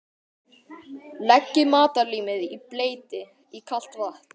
Leggið matarlímið í bleyti í kalt vatn.